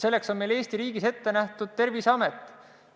Selleks on meil Eesti riigis ette nähtud Terviseamet.